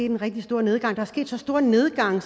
en rigtig stor nedgang der er sket så stor en nedgang